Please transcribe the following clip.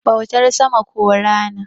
bautar sama ko Rana